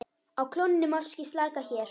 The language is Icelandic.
Á klónni máski slaka hér.